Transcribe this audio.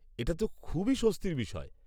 এটা তো খুবই স্বস্তির বিষয়।